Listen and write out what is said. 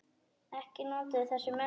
Ekki notuðu þessir menn verjur.